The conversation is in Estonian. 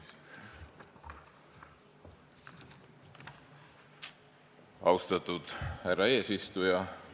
Austatud härra eesistuja!